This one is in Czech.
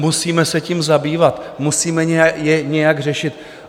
Musíme se tím zabývat, musíme to nějak řešit.